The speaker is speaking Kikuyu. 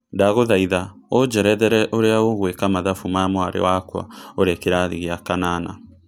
ndagũthaĩtha ũjerethere ũrĩa gũeka mathabũ ma mwari wakwa urĩ kĩrathi gĩa kanana